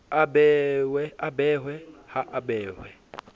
a behwe ha a behwe